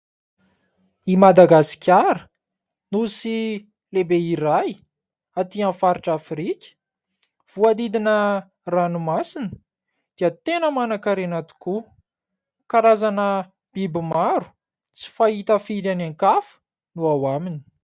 I Madagasikara nosy lehibe iray atỳ amin'ny faritra Afrika, voahodidina ranomasina dia tena manankarena tokoa, karazana biby maro tsy fahita firy any an-kafa no ao aminy.